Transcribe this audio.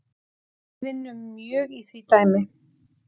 Við vinnum mjög í því dæmi